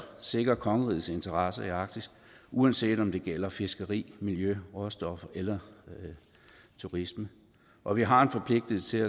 sikre kongerigets interesse i arktis uanset om det gælder fiskeri miljø råstoffer eller turisme og vi har en forpligtelse til